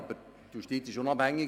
Aber die Justiz ist unabhängig.